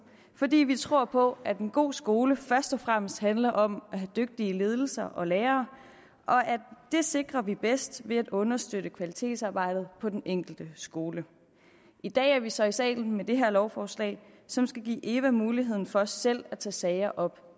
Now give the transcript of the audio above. fordi vi tror på at en god skole først og fremmest handler om at have dygtige ledelser og lærere og det sikrer vi bedst ved at understøtte kvalitetsarbejdet på den enkelte skole i dag er vi så i salen med det her lovforslag som skal give eva mulighed for selv at tage sager op